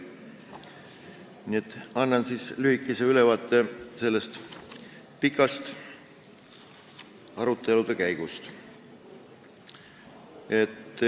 Nii et annan nüüd lühikese ülevaate sellest pikast arutelude käigust.